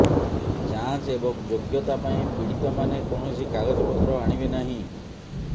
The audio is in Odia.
ଯାଞ୍ଚ ଏବଂ ଯୋଗ୍ୟତା ପାଇଁ ପୀଡ଼ିତମାନେ କୌଣସି କାଗଜପତ୍ର ଆଣିବେ ନାହିଁ